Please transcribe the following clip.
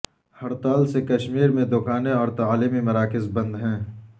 ہڑتال سے کشمیر میں دکانیں اور تعلیمی مراکز بند ہیں